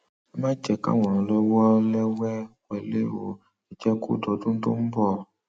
ẹ má jẹ káwọn ọlọlẹẹwé wọlé ọ ẹ jẹ kó dọdún tó ń bọ